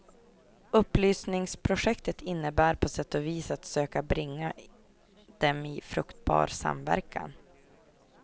Upplysningsprojektet innebär på sätt och vis att söka bringa dem i fruktbar samverkan.